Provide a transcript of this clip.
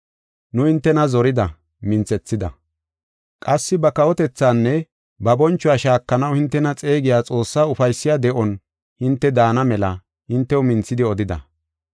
Nu hintena zorida, minthethida. Qassi ba kawotethaanne ba bonchuwa shaakanaw hintena xeegiya Xoossaa ufaysiya de7o hinte daana mela hintew minthidi odida.